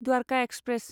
Dwarka express